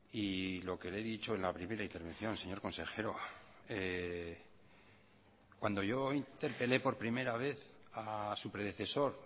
y lo que le he dicho en la primera intervención señor consejero cuando yo interpelé por primera vez a su predecesor